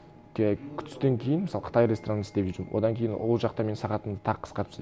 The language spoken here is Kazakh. жай түстен кейін мысалы қытай ресторанында істеп жүрдім одан кейін ол жақта менің сағатымды тағы қысқартып тастады